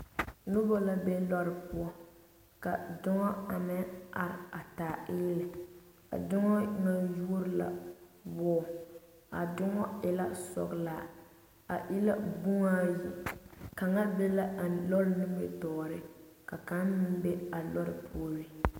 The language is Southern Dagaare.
Noba la be loori poɔ ka doŋa a meŋ a are a taa eele a doŋa ŋa yuori la wɔɔ a doŋa e la sɔglaa a e la boma ayi ka be la a loori nimitɔɔreŋ ka kaŋa meŋ be a loori puori.